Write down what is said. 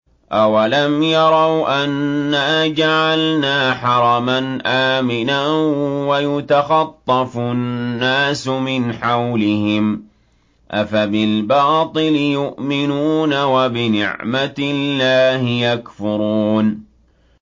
أَوَلَمْ يَرَوْا أَنَّا جَعَلْنَا حَرَمًا آمِنًا وَيُتَخَطَّفُ النَّاسُ مِنْ حَوْلِهِمْ ۚ أَفَبِالْبَاطِلِ يُؤْمِنُونَ وَبِنِعْمَةِ اللَّهِ يَكْفُرُونَ